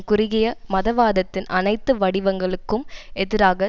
குறுகிய மதவாதத்தின் அனைத்து வடிவங்களுக்கும் எதிராக